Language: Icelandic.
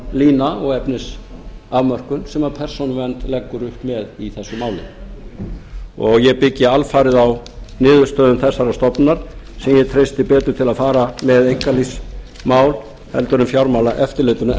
grundvallarlína og efnisafmörkun sem persónuvernd leggur upp með í þessu máli og ég byggi alfarið á niðurstöðum þessarar stofnunar sem ég treysti betur til að fara með einkalífsmál heldur en fjármálaeftirlitinu